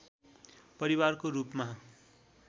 परिवारको रूपमा